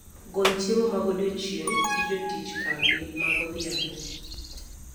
gol chiemo magodiochieng gi jotich kambi ma godhiambo